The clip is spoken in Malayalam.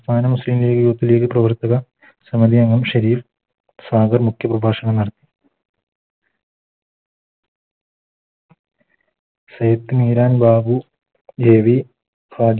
മുസ്ലിം ലീഗ് Youth ലീഗ് പ്രവർത്തക ഷെരീഫ് സാഗർ മുഖ്യ പ്രഭാഷണം നടത്തി ബാബു AV